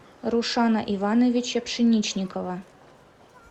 рушана ивановича пшеничникова